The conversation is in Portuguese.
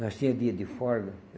Nós tinha dia de folga.